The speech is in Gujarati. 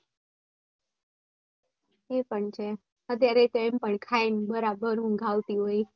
એ પણ છે અત્યારે એમ પણ ખાઈ ને બરાબર ઊંઘ આવતી હોય.